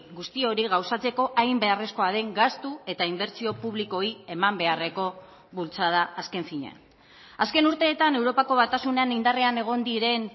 guzti hori gauzatzeko hain beharrezkoa den gastu eta inbertsio publikoei eman beharreko bultzada azken finean azken urteetan europako batasunean indarrean egon diren